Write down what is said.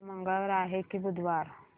आज मंगळवार आहे की बुधवार